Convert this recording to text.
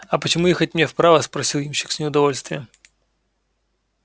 а почему ехать мне вправо спросил ямщик с неудовольствием